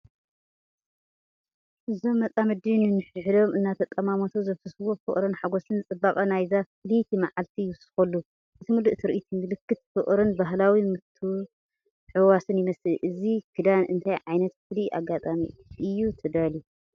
እዞም መጻምድቲ ንሓድሕዶም እናተጠማመቱ ዘፍስስዎ ፍቕርን ሓጎስን ንጽባቐ ናይዛ ፍልይቲ መዓልቲ ይውስኸሉ። እቲ ምሉእ ትርኢት ምልክት ፍቕርን ባህላዊ ምትሕውዋስን ይመስል። እዚ ክዳን ንእንታይ ዓይነት ፍሉይ ኣጋጣሚ እዩ ተዳልዩ፧